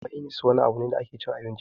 Mainis wani abu ne da ake cin abinci dashi